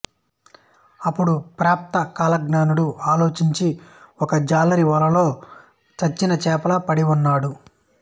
అప్పుడు ప్రాప్త కాలజ్ఞుడు ఆలోచించి ఒక జాలరి వలలో చచ్చిన చేపలా పడి ఉన్నాడు